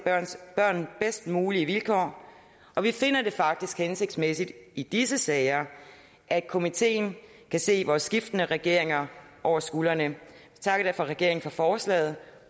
børn bedst mulige vilkår og vi finder det faktisk hensigtsmæssigt i disse sager at komiteen kan se vores skiftende regeringer over skulderen vi takker derfor regeringen for forslaget